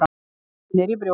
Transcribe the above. Kennir í brjósti.